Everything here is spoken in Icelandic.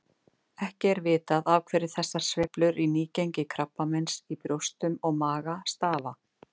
Ekki er vitað af hverju þessar sveiflur í nýgengi krabbameins í brjóstum og maga stafa.